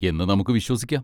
എന്ന് നമുക്ക് വിശ്വസിക്കാം.